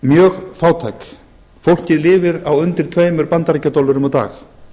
mjög fátæk fólkið lifir á undir tveimur bandaríkjadollurum á dag